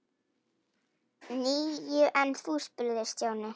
Níu, en þú? spurði Stjáni.